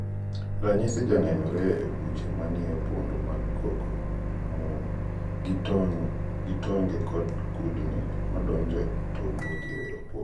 Ranyis janenore e buche manie opodo mag cocoa moom gi tonge kudni madonjo to wuok e opodo.